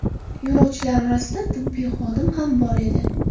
Yo‘lovchilar orasida tibbiy xodim ham bor edi.